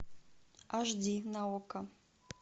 аш ди на окко